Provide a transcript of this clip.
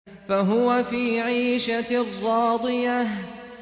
فَهُوَ فِي عِيشَةٍ رَّاضِيَةٍ